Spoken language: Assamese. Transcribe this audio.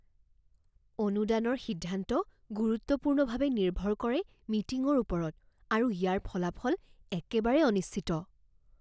অনুদানৰ সিদ্ধান্ত গুৰুত্বপূৰ্ণভাৱে নিৰ্ভৰ কৰে মিটিঙৰ ওপৰত আৰু ইয়াৰ ফলাফল একেবাৰে অনিশ্চিত।